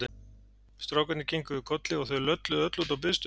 Strákarnir kinkuðu kolli og þau lölluðu öll út á biðstöð.